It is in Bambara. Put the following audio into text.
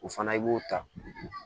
O fana i b'o ta